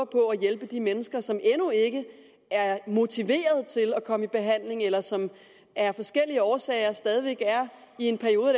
på at hjælpe de mennesker som endnu ikke er motiveret til at komme i behandling eller som af forskellige årsager stadig væk er i en periode